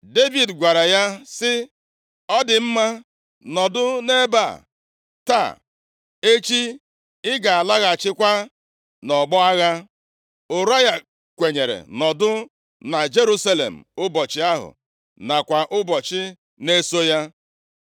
Devid gwara ya sị, “Ọ dị mma, nọdụ nʼebe a taa, echi ị ga-alaghachikwa nʼọgbọ agha.” Ụraya kwenyere nọdụ na Jerusalem ụbọchị ahụ, nakwa ụbọchị na-eso ya.